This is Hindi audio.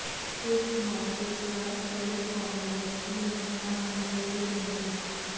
इस मौके पर कई कांग्रेसी नेता मौजूद रहे